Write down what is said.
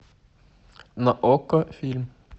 на окко фильм